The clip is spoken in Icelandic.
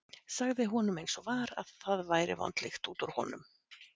Sagði honum eins og var að það væri vond lykt út úr honum.